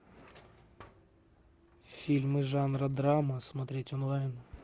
фильмы жанра драма смотреть онлайн